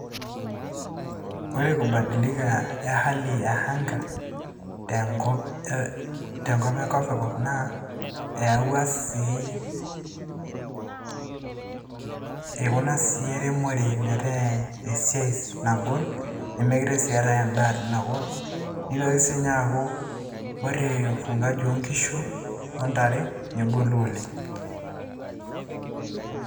Ore kubadilika ehali ya anga tenkop ekopikop naa eyawua sii ikuna ii eremore metaa esiai nagol mekute si eatae endaa tinakop nitoki sininye aaku ore ufugaji oonkishu ontare negolu oleng.